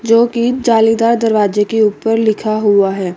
जो की जालीदार दरवाजे के ऊपर लिखा हुआ है।